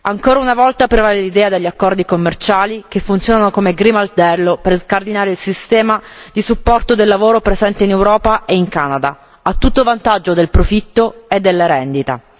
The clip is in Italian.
Ancora una volta prevale l'idea degli accordi commerciali che funzionano come grimaldello per scardinare il sistema di supporto del lavoro presente in Europa e in Canada a tutto vantaggio del profitto e della rendita.